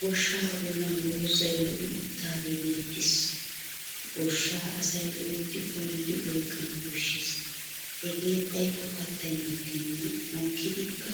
Goshshaa bollan doozzay lo'i uttidaagee beettes. Goshshaa asay loytti goyyidi oyqqana koshshes hegee xayikko kattay mokkenna mokkidikka